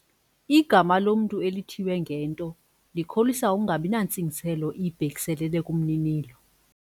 Igama lomntu elithiywe ngento likholisa ukungabi nantsingiselo ibhekiselele kumninilo.